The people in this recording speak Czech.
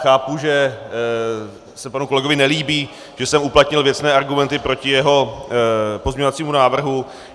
Chápu, že se panu kolegovi nelíbí, že jsem uplatnil věcné argumenty proti jeho pozměňovacímu návrhu.